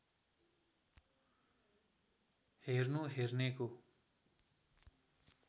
हेर्नु हेर्नेको